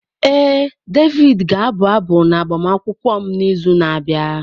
Ee, Davidi ga-abụ abụ n'agbamakwụkwọ m n'izu na-abịa.